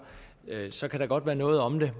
så kan der godt være noget om det